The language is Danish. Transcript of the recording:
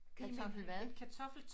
kartoffel hvad?